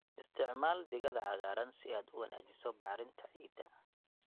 Isticmaal digada cagaaran si aad u wanaajiso bacrinta ciidda.